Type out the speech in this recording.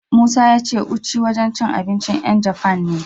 Musa ya ce Uchi wajen cin abincin 'yan Jafan ne.